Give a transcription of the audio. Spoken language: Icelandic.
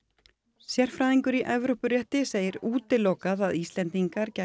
sérfræðingur í Evrópurétti segir útilokað að Íslendingar gætu